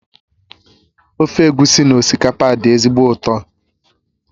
Ofe egusi na osikapa dị ezigbo ụtọ